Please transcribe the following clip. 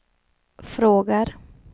frågar